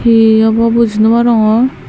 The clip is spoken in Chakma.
he obo buji nw parongor.